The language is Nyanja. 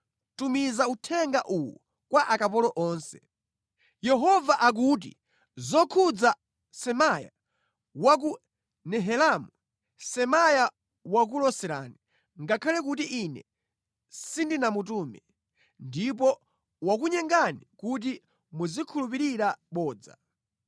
“Tumiza uthenga uwu kwa akapolo onse: ‘Yehova akuti zokhudza Semaya wa ku Nehelamu: Semaya wakuloserani, ngakhale kuti Ine sindinamutume, ndipo wakunyengani kuti muzikhulupirira bodza.